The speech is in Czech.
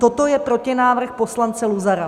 Toto je protinávrh poslance Luzara.